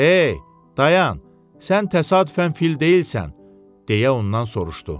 Hey, dayan, sən təsadüfən fil deyilsən, deyə ondan soruşdu.